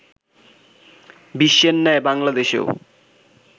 বিশ্বের ন্যায় বাংলাদেশেও